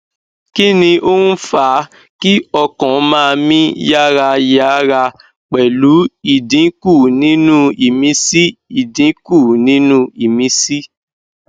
kí ni ó ń fa kí ọkàn ma mi yarayaraa pelu idinku ninu imisi idinku ninu imisi